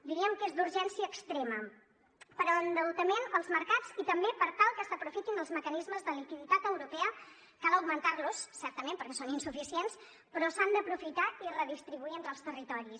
diríem que és d’urgència extrema per a l’endeutament als mercats i també per tal que s’aprofitin els mecanismes de liquiditat europea cal augmentar los certament perquè són insuficients però s’han d’aprofitar i redistribuir entre els territoris